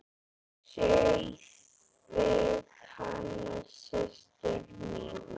Sáuð þið hana systur mína.